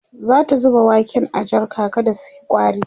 zata zuba waken a jarka kada suyi ƙwari